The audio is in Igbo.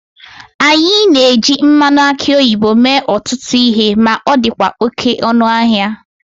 A na-eji mmanụ aki oyibo mee ọtụtụ ihe ma ọ dịkwa oke ọnụ ahịa